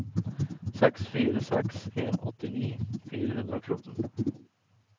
seks fire seks en åttini fire hundre og fjorten